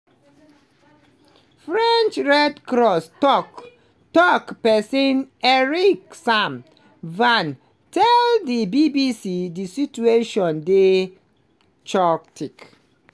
french red cross tok-tok pesin eric sam vah tell di bbc di situation dey "chaotic".